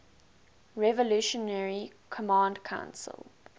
revolutionary command council